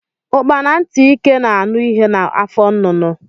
Ukpara ntị ike na anụ ihe na afọ nnụnụ.